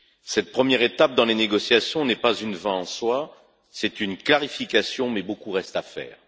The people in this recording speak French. Cette première étape dans les négociations n'est pas une fin en soi, c'est une clarification, mais beaucoup reste à faire.